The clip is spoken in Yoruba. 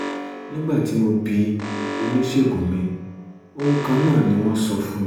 nígbà tí mo bi oníṣègùn mi ohun kan náà ni wọ́n sọ fún mi